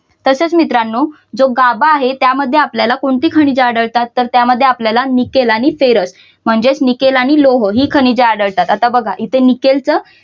तसेच मित्रानो जो गाभा आहे त्यामध्ये आपल्याला कोणती खनिजे आढळतात तर त्यामध्ये आपल्यानं निकेल आणिफेरस म्हणजे निकेल आणि लोह ही खनिजे आढळतात. आता बघा इथे निकेलच